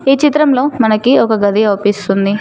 ఈ చిత్రంలో మనకి ఒక గది అవుపిస్తుంది.